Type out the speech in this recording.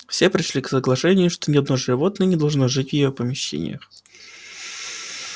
все пришли к соглашению что ни одно животное не должно жить в её помещениях